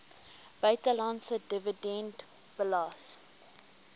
buitelandse dividend belas